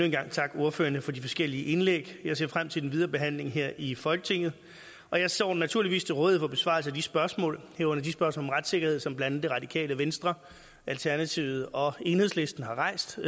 en gang takke ordførerne for de forskellige indlæg jeg ser frem til den videre behandling her i folketinget og jeg står naturligvis til rådighed for besvarelse af de spørgsmål herunder de spørgsmål om retssikkerhed som blandt andet det radikale venstre alternativet og enhedslisten har rejst